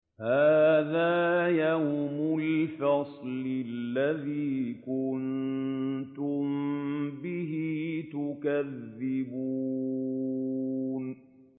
هَٰذَا يَوْمُ الْفَصْلِ الَّذِي كُنتُم بِهِ تُكَذِّبُونَ